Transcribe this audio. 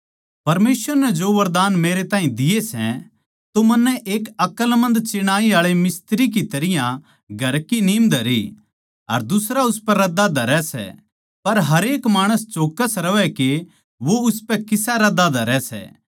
परमेसवर नै जो वरदान मेरे ताहीं दिए सै तो मन्नै एक अकलमंद चिणाई आळे मिस्त्री की तरियां घर की नीम धरी अर दुसरा उसपै रद्दा धरै सै पर हरेक माणस चौक्कस रहवै के वो उसपै किसा रद्दा धरै सै